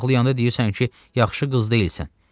Mən ağlayanda deyirsən ki, yaxşı qız deyilsən.